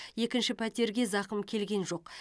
екінші пәтерге зақым келген жоқ